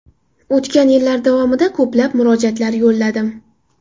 O‘tgan yillar davomida ko‘plab murojaatlar yo‘lladim.